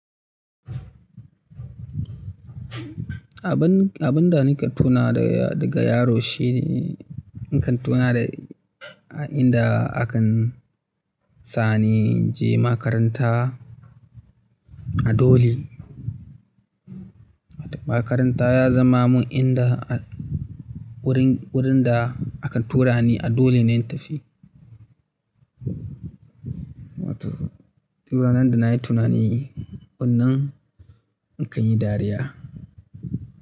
Abin, abin da nake tuna da daga yaro shine nakan tuna da inda aka sani je makaranta a dole. Makaranta ya zama min inda wurin, wurin da aka tura ni a dole ne in tafi. To du ranan da nayi tunani wannan in kan yi dariya.